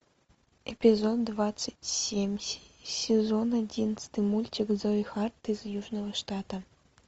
эпизод двадцать семь сезон одиннадцатый мультик зои харт из южного штата